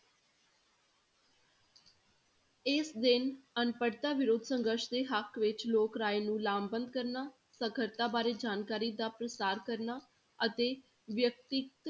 ਇਸ ਦਿਨ ਅਨਪੜ੍ਹਤਾ ਵਿਰੋਧ ਸੰਘਰਸ਼ ਦੇ ਹੱਕ ਵਿੱਚ ਲੋਕ ਰਾਏ ਨੂੰ ਲਾਭਬੰਦ ਕਰਨਾ, ਸਾਖ਼ਰਤਾ ਬਾਰੇ ਜਾਣਕਾਰੀ ਦਾ ਪ੍ਰਸਾਰ ਕਰਨਾ ਅਤੇ ਵਿਅਕਤੀ